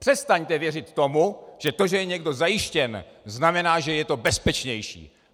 Přestaňte věřit tomu, že to, že je někdo zajištěn, znamená, že to je bezpečnější.